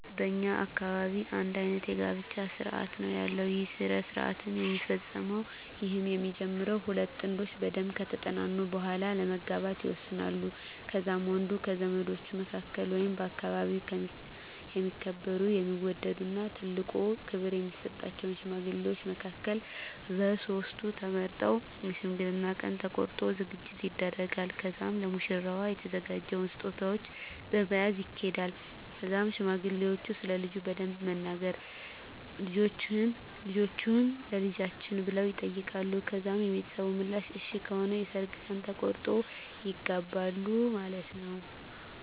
በእኛ አካባቢ አንድ አይነት የጋብቻ ስርአት ነው ያለው ይህ ስረሰአት የሚፈፀመዉ ይህም የሚጀመረው ሁለት ጥንዶች በደንብ ከተጠናኑ በሁዋላ ለመጋባት ይወሰናሉ ከዛም ወንዱ ከዘመዶቹ መካከል ወይንም በአከባቢው የሚከበሩ የሚወደድ እና ትልቆ ክብር የሚሰጣቸውን ሽማግሌዎች መካከልቨ ሶስት ተመርጠው የሽምግልናውን ቀን ተቆርጦ ዝግጅት ይደረጋል ከዛም ለሙሽራዋ የተዘጋጀውን ስጦታዎች በመያዝ ይኪዳል ከዛም ሽማግሌዎች ስለልጁ በደንብ በመናገር ልጃቹህን ለልጃችን ብለው ይጠይቃሉ ከዛም የቤተሰብ ምላሽ እሽ ከሆነ የሰርግ ቀን ተቆርጦ ይጋባሉ ማለትነወ።